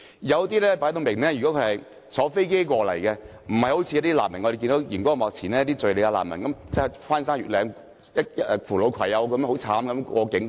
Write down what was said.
有些人士顯然是乘搭飛機來港，不像電視上所見的敘利亞難民，翻山越嶺、扶老攜幼地過境。